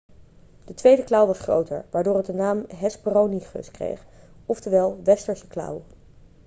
de tweede klauw was groter waardoor het de naam hesperonychus kreeg oftewel westerse klauw'